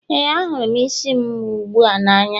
ee, ahụrụ m isi m ugbu a n'anya